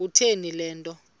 kutheni le nto